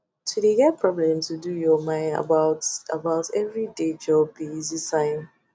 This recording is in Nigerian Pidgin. to de get problem to do your mine about about everyday job be easy sign